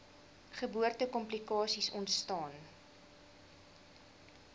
geboorte komplikasies ontstaan